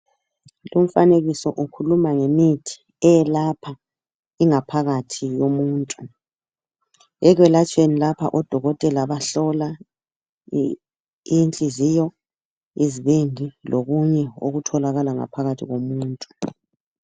Lumfanekiso ukhuluma ngemithi eyelapha ingaphakathi yomuntu .Ekwelatshelweni lapha odokothela bahlola inhliziyo, izibindi lokunye okutholakala ngaphakathi komuntu.